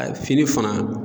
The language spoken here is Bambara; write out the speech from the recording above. fini fana